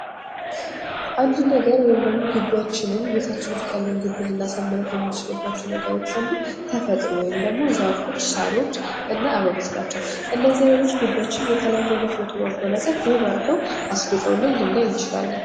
ግቢያችንን የምናሳምርባቸው ነገሮች አሉ። ተፈጥሮ ወይም ደግሞ ዛፎች፣ ሳሮች እና አበቦች ናቸው።